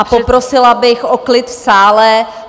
A poprosila bych o klid v sále.